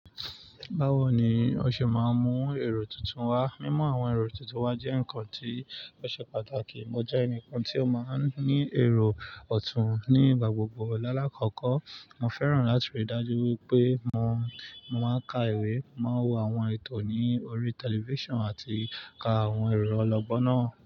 Báwo ni o ṣe máa ń mú èrò tuntun wá? Mímú àwọn èrò tuntun wá jẹ́ ǹkan tí ó ṣe pàtàkì. Mo jẹ́ ẹnìkan tí ó máa ń ní èrò ọ̀tún nígbà gbogbo. Láàkọ́kọ́, mo fẹ́ràn láti rí dájú wípé mo, mo máa ń ka ìwé, mo máa ń wo àwọn ètò ní orí tẹlifíṣàn àti ka àwọn èro ọlọ́gbọ́n náà.